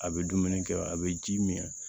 A bɛ dumuni kɛ a bɛ ji min